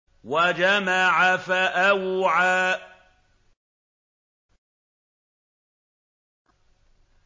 وَجَمَعَ فَأَوْعَىٰ